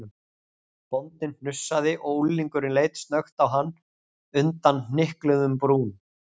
Bóndinn hnussaði og unglingurinn leit snöggt á hann undan hnykluðum brúm.